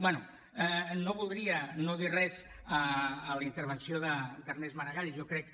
bé no voldria no dir res a la intervenció d’ernest maragall jo crec